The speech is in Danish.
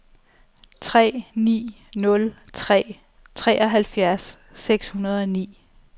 tre ni nul tre treoghalvfjerds seks hundrede og ni